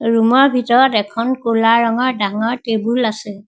Room ৰ ভিতৰত এখন ক'লা ৰঙৰ ডাঙৰ টেবুল আছে।